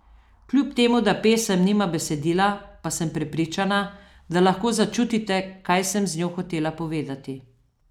Kljub temu da pesem nima besedila, pa sem prepričana, da lahko začutite, kaj sem z njo hotela povedati.